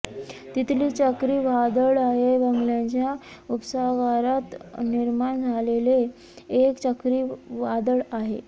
तितली चक्रीवादळ हे बंगालच्या उपसागरात निर्माण झालेले एक चक्रीवादळ आहे